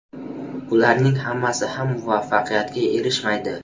Ularning hammasi ham muvaffaqiyatga erishmaydi.